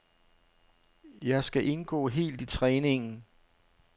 Jeg skal indgå helt i træningen.